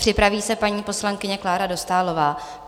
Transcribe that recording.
Připraví se paní poslankyně Klára Dostálová.